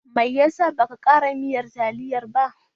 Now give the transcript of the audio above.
Me ya sa baka ƙara miyan a taliyar ba?